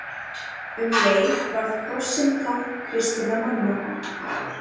Um leið varð krossinn tákn kristinna manna.